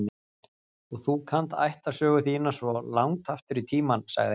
Og þú kannt ættarsögu þína svona langt aftur í tímann, sagði hann.